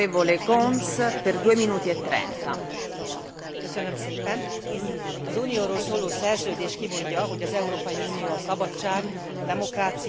Az Unióról szóló szerződés kimondja, hogy az Európai Unió a szabadság, demokrácia, a jogállamiság, valamint az emberi jogok tiszteletben tartásán alapul.